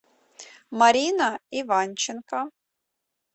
марина иванченко